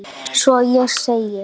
Svo ég segi